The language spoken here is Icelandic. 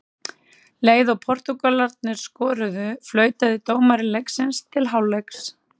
Leið og Portúgalarnir skoruðu, flautaði dómari leiksins til hálfleiks.